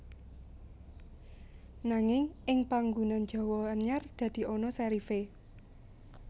Nanging ing panggunan Jawa anyar dadi ana serif é